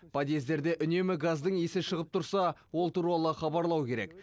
подъездерде үнемі газдың иісі шығып тұрса ол туралы хабарлау керек